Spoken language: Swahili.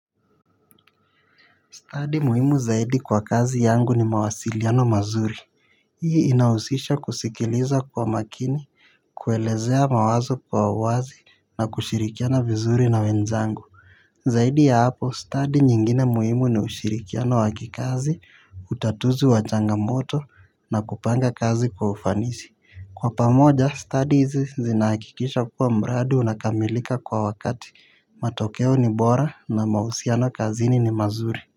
Stadi muhimu zaidi kwa kazi yangu ni mawasiliano mazuri. Hii inahusisha kusikiliza kwa makini, kuelezea mawazo kwa uwazi na kushirikiana vizuri na wenzangu. Zaidi ya hapo, stadi nyingine muhimu ni ushirikiano wa kikazi, utatuzi wa changamoto na kupanga kazi kwa ufanisi. Kwa pamoja, stadi hizi zinahakikisha kuwa mradi unakamilika kwa wakati, matokeo ni bora na mahusiano kazini ni mazuri.